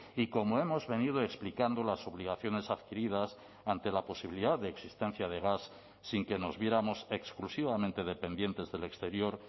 y como hemos venido explicando las obligaciones adquiridas ante la posibilidad de existencia de gas sin que nos viéramos exclusivamente dependientes del exterior